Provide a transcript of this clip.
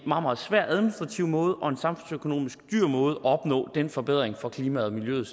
meget svær administrativ måde og en samfundsøkonomisk dyr måde at opnå den forbedring for klimaet og miljøet